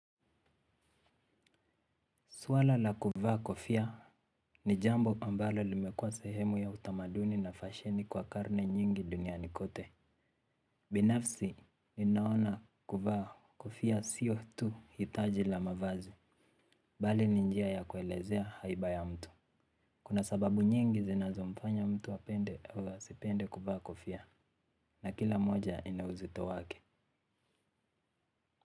Swala la kuvaa kofia ni jambo ambalo limekuwa sehemu ya utamaduni na fasheni kwa karne nyingi duniani kote. Binafsi, ninaona kuvaa kofia sio tu hitaji la mavazi, bali ni njia ya kuelezea haiba ya mtu. Kuna sababu nyingi zinazomfanya mtu apende au asipende kuvaa kofia, na kila moja inau uzito wake.